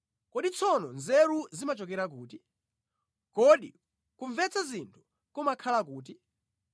“Kodi tsono nzeru zimachokera kuti? Kodi kumvetsa zinthu kumakhala kuti?